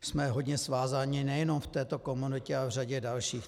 Jsme hodně svázáni nejenom v této komoditě, ale v řadě dalších.